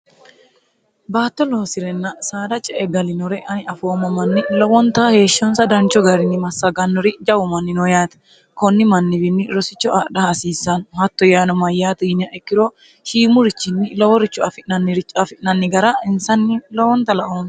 baatto loosi'renna saada ca e galinore ani afoomma manni lowonta heeshshonsa dancho garinni massagannori jawumanni noo yaate konni manniwiinni rosicho adha hasiissaanno hatto yaano mayyaati yinyaekkiro shiimurichinni loworicho afi'nniricho afi'nanni gara insanni lowonta laooo